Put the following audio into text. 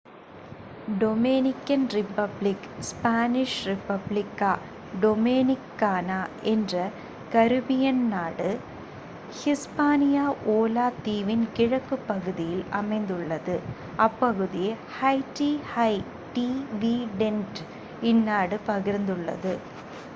Dominican Republic Spanish : Republic கா டோமினிக் கானா என்ற கரீபியன் நாடு ஹிஸ்பானிய ஓலா தீவின் கிழக்குப் பகுதியில் அமைந்துள்ளது. அப்பகுதியை ஹைட்டி ஹை டிவிடெண்ட் இந்நாடு பகிர்ந்துள்ளது